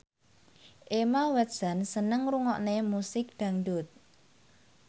Emma Watson seneng ngrungokne musik dangdut